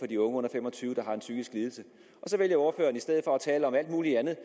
de unge under fem og tyve år en psykisk lidelse så vælger ordføreren i stedet for at tale om alt muligt andet